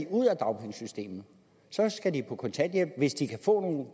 ud af dagpengesystemet så skal de på kontanthjælp hvis de kan få